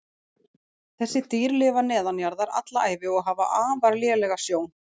Þessi dýr lifa neðanjarðar alla ævi og hafa afar lélega sjón.